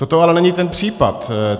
Toto ale není ten případ.